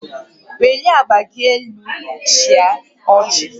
Welie agba gị elu chịa ọchị